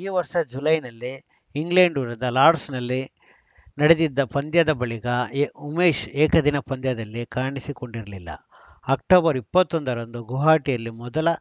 ಈ ವರ್ಷ ಜುಲೈನಲ್ಲಿ ಇಂಗ್ಲೆಂಡ್‌ ವಿರುದ್ಧ ಲಾರ್ಡ್ಸ್ನಲ್ಲಿ ನಡೆದಿದ್ದ ಪಂದ್ಯದ ಬಳಿಕ ಎ ಉಮೇಶ್‌ ಏಕದಿನ ಪಂದ್ಯದಲ್ಲಿ ಕಾಣಿಸಿಕೊಂಡಿರಲಿಲ್ಲ ಅಕ್ಟೋಬರ್ ಇಪ್ಪತ್ತ್ ಒಂದ ರಂದು ಗುವಾಹಟಿಯಲ್ಲಿ ಮೊದಲ